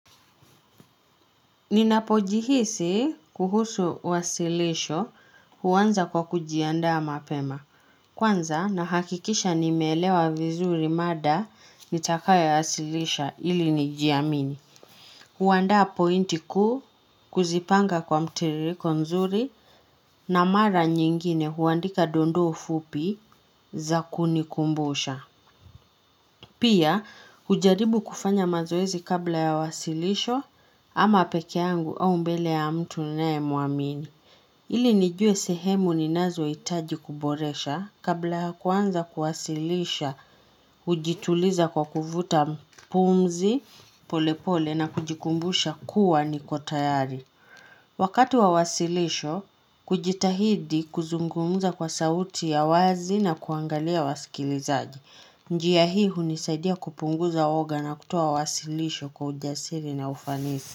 Ninapojihisi kuhusu wasilisho huanza kwa kujiandaa mapema. Kwanza nahakikisha nimeelewa vizuri mada nitakayo wasilisha ili nijiamini. Huandaa pointi kuu kuzipanga kwa mtiririko nzuri na mara nyingine huandika dondoo fupi za kunikumbusha. Pia, ujaribu kufanya mazoezi kabla yawasilisho ama peke yangu au mbele ya mtu nae muamini. Ili nijue sehemu ninazoitaji kuboresha kabla kuanza kuwasilisha, hujituliza kwa kuvuta pumzi polepole na kujikumbusha kuwa niko tayari. Wakati wa wasilisho, kujitahidi kuzungumza kwa sauti ya wazi na kuangalia wasikilizaji. Njia hii hunisaidia kupunguza woga na kutoa wasilisho kwa ujasiri na ufanisi.